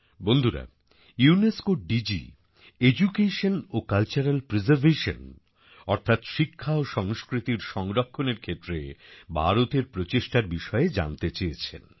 বন্ধুরা ইউনেস্কোর DG education ও কালচারাল প্রিজারভেশন অর্থাৎ শিক্ষা ও সংস্কৃতির সংরক্ষণ ক্ষেত্রে ভারতের প্রচেষ্টার বিষয়ে জানতে চেয়েছেন